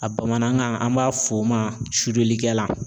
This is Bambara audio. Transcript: A bamanankan an b'a fɔ o ma .